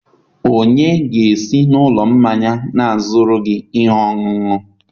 onye ga-esi n'ụlọ mmanya na-azụrụ gị ihe ọṅụṅụ?